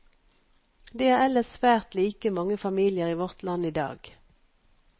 De er ellers svært like mange familier i vårt land idag.